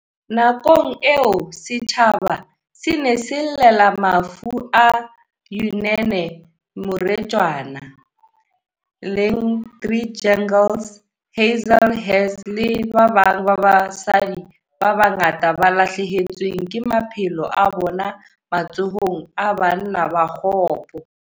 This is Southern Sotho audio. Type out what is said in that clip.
Nakong eo setjhaba se ne se llela mafu a Uyinene Mrwetyana, Leighandre Jegels, Jesse Hess le ba babang ba basadi ba bangata ba lahlehetsweng ke maphelo a bona matsohong a banna ba kgopo.